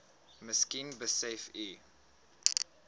miskien besef u